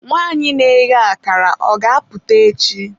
nwanyị na-eghe akara, ọ ga-apụta echi?